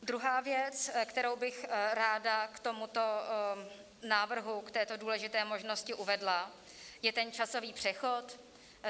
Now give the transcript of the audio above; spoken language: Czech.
Druhá věc, kterou bych ráda k tomuto návrhu, k této důležité možnosti uvedla, je ten časový přechod.